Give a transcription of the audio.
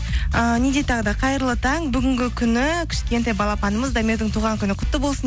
ыыы не дейді тағы да қайырлы таң бүгінгі күні кішкентай балапанымыз дамирдің туған күні құтты болсын